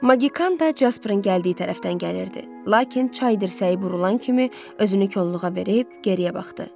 Magikan da Casperın gəldiyi tərəfdən gəlirdi, lakin çay dirsəyi burulan kimi özünü kolluğa verib geriyə baxdı.